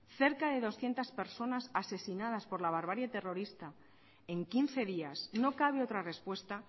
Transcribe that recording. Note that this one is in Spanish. cerca de doscientos personas asesinadas por la barbarie terrorista en quince días no cabe otra respuesta